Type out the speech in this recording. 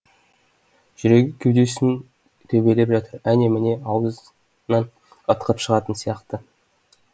жүрегі кеудесін төбелеп жатыр әне міне аузынан ытқып шығатын сияқты